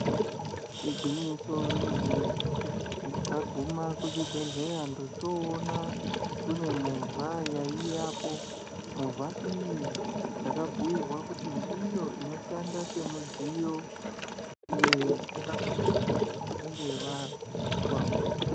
Igwinyiso remene mene ndakaguma kuzvibhedhlera ndochoona kune movha yaiyapo movha iyi ndakabhuirwa kuti ndiyo inoshanda semudziya wekutakura vantu vanenge vazwa hosha.